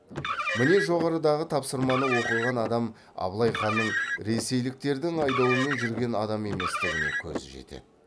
міне жоғарыдағы тапсырманы оқыған адам абылай ханның ресейліктердің айдауымен жүрген адам еместігіне көзі жетеді